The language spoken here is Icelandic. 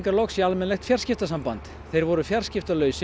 loks í almennilegt fjarskiptasamband þeir voru